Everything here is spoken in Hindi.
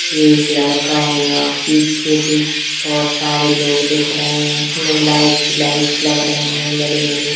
एक लड़का है ना पीछे पे बहुत सारे लोग दिख रहे हैं उसमें लाइटस ही लाइट लग रही है बड़ी-बड़ी--